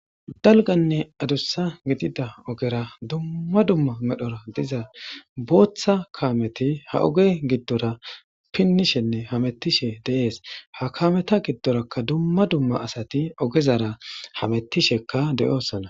dalganne adussa gidida ogera dumma dumma medhora diza booththa kaameti ha oge giddora pinnishenne hamettishe deees ha kameta giddorakka dumma dumma asati ogezara hamettishekka de7oosana